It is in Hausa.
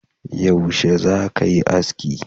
Yaushe za ka yi aski?